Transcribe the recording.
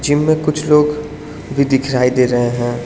Gym में कुछ लोग भी दिखाई दे रहे हैं।